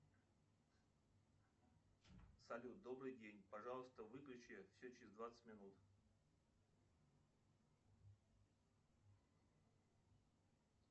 салют добрый день пожалуйста выключи все через двадцать минут